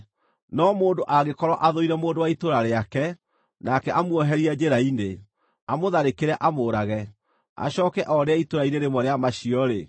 No mũndũ angĩkorwo athũire mũndũ wa itũũra rĩake, nake amuoherie njĩra-inĩ, amũtharĩkĩre amũũrage, acooke orĩre itũũra-inĩ rĩmwe rĩa macio-rĩ,